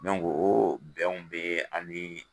o bɛnw be an bi